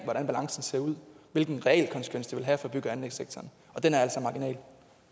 hvordan balancen ser ud hvilken realkonsekvens det vil have for bygge og anlægssektoren og den er altså marginal